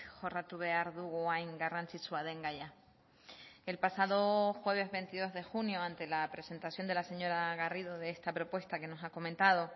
jorratu behar dugu hain garrantzitsua den gaia el pasado jueves veintidós de junio ante la presentación de la señora garrido de esta propuesta que nos ha comentado